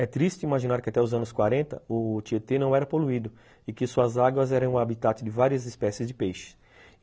É triste imaginar que até os anos quarenta o Tietê não era poluído e que suas águas eram o habitat de várias espécies de peixe.